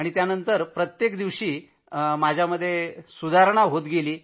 त्यानंतर तर प्रत्येक दिवशी सुधारणा दिसत होती